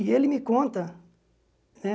E ele me conta, né?